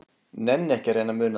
Nenni ekki að reyna að muna það.